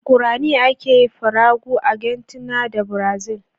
Guaraní ake yi a Paraguay, Argentina da Brazil